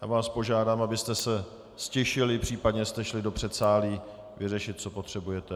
Já vás požádám, abyste se ztišili, případně jste šli do předsálí vyřešit, co potřebujete.